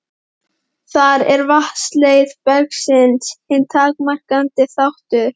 Þar er vatnsleiðni bergsins hinn takmarkandi þáttur.